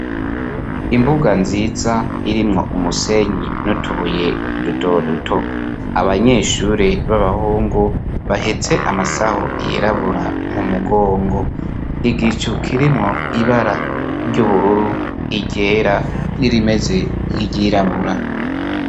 Imbuga nziza irimwo umusenyi n'utubuye dutoduto abanyeshure b'abahungu bahetse amasaho yirabura mu mugongo, igicu kirimwo ibara ry'ubururu iryera n'irimeze nk'iryirabura.